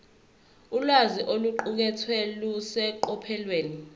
ulwazi oluqukethwe luseqophelweni